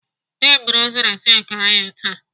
Dị m rụziri sinki anyị taa.